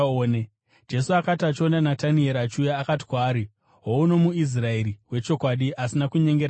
Jesu akati achiona Natanieri achiuya, akati kwaari, “Houno muIsraeri wechokwadi, asina kunyengera maari.”